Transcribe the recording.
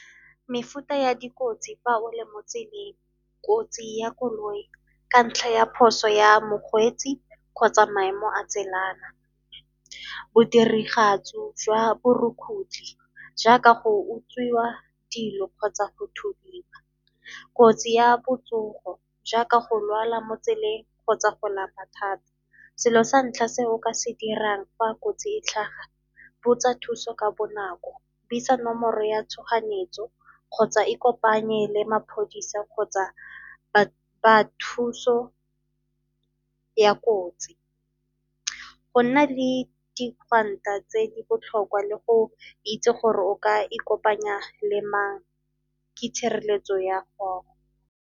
Mefuta ya dikotsi fa o le mo tseleng, kotsi ya koloi ka ntlha ya phoso ya mokgweetsi kgotsa maemo a tselana. Bodirigatsi jwa borukgutlhi jaaka go utswiwa dilo kgotsa go thubiwa. Kotsi ya botsogo jaaka go lwala mo tseleng kgotsa go lapa thata. Selo sa ntlha se o ka se dirang fa kotsi e tlhaga, botsa thuso ka bonako, buisa nomoro ya tshoganyetso kgotsa ikopanye le maphodisa kgotsa ba thuso ya kotsi. Go nna le di tse di botlhokwa le go itse gore o ka ikopanya le mang ke tshireletso ya gago.